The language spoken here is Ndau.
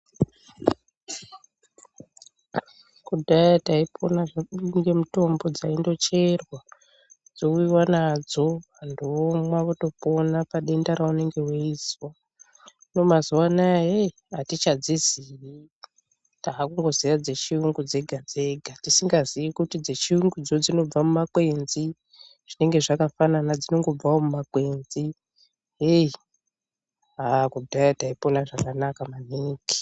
Kudhaya taipona zvedu nemitombo dzaindocherwa dzouyiwa nadzo vantu vomwa votopona padenda ravanenge veizwa ,hino mazuwa anaiyi atichadziziyi takungoziya dzechirungu dzega dzega tisingaziyi kuti dzechiyungu dzinobva mumakwenzi zvinenge zvakafanana dzinongobvawo mumakwenzi hei haa kudhaya taipona zvakanaka maningi .